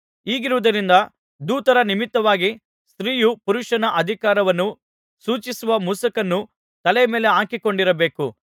ಹೀಗಿರುವುದರಿಂದ ದೂತರ ನಿಮಿತ್ತವಾಗಿ ಸ್ತ್ರೀಯು ಪುರುಷನ ಅಧಿಕಾರವನ್ನು ಸೂಚಿಸುವ ಮುಸುಕನ್ನು ತಲೆಯ ಮೇಲೆ ಹಾಕಿಕೊಂಡಿರಬೇಕು